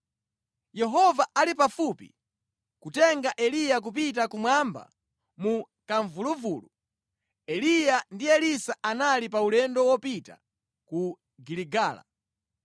Yehova ali pafupi kutenga Eliya kupita kumwamba mu kamvuluvulu, Eliya ndi Elisa anali pa ulendo wopita ku Giligala.